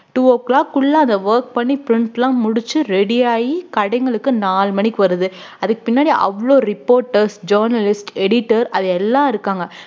two o clock உள்ள அத work பண்ணி print லாம் முடிச்சு ready யாகி கடைங்களுக்கு நாலு மணிக்கு வருது அதுக்கு பின்னாடி அவ்ளோ reporters journalist editor அது எல்லாம் இருக்காங்க